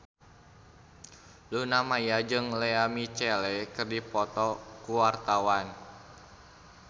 Luna Maya jeung Lea Michele keur dipoto ku wartawan